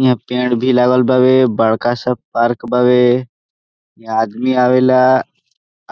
हीया पेड़ भी लगल बावे बड़का सा पार्क बाड़े हीया आदमी आवैला